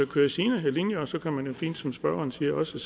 kører sine linjer og så kan man jo fint som spørgeren siger så